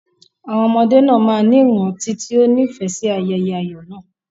Àwọn ọmọdé náà máa ní ìrántí tí ó nífẹ̀ẹ́ sí ayẹyẹ ayọ̀ náà.